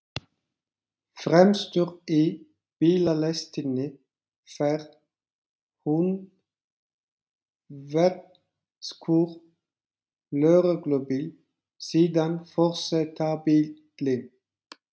Fremstur í bílalestinni fer húnvetnskur lögreglubíll, síðan forsetabíllinn.